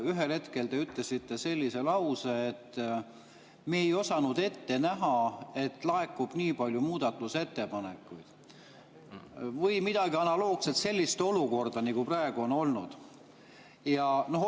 Ühel hetkel te ütlesite sellise lause, et me ei osanud ette näha, et laekub nii palju muudatusettepanekuid, või midagi analoogset, et sellist olukorda, nagu praegu on olnud.